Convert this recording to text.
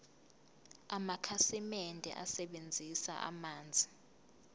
amakhasimende asebenzisa amanzi